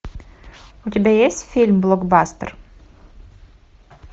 у тебя есть фильм блокбастер